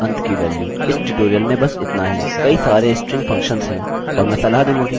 कई सारे string functions है और मैं सलाह दूँगा कि google पर आप खोजें